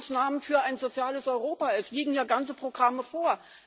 Sofortmaßnahmen für ein soziales Europa es liegen ja ganze Programme vor.